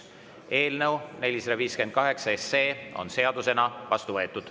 Eelnõu 458 on seadusena vastu võetud.